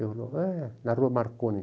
Ele falou, é, na rua Marconi.